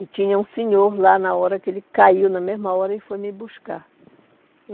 E tinha um senhor lá na hora que ele caiu, na mesma hora que foi me buscar.